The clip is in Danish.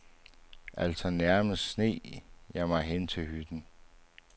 Altså nærmest sneg jeg mig hen til hytten.